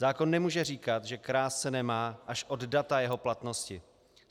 Zákon nemůže říkat, že krást se nemá, až od data jeho platnosti.